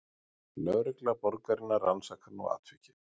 Lögregla borgarinnar rannsakar nú atvikið